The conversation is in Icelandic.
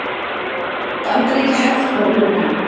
Bandaríkjahers frá Víetnam.